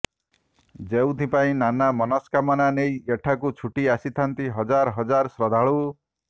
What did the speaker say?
ଯେଉଁଥିପାଇଁ ନାନା ମନସ୍କାମନା ନେଇ ଏଠାକୁ ଛୁଟି ଆସିଥାନ୍ତି ହଜାର ହଜାର ଶ୍ରଦ୍ଧାଳୁ